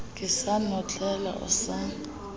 ke sa notlela o sa